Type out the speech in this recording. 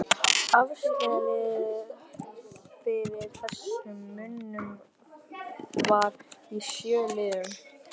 Afsalið fyrir þessum munum var í sjö liðum